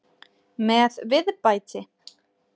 Með viðbæti.